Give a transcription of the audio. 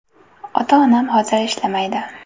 Ota-onam hozir ishlamaydi.